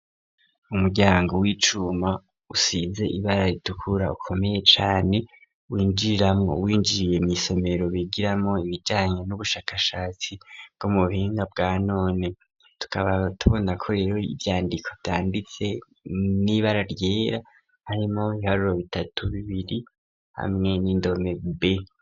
Umuryango w'icuma usize ibara ritukura ,ukomeye cane ,winjiramwo winjiriye mw' isomero bigiramwo ,ibijanye n'ubushakashatsi bwo mu buhinga bwa none, tukaba tubona ko rero ivyandiko vyanditse n'ibara ryera ,harimwo iharuro bitatu, bibiri ,hamwe n'indome b.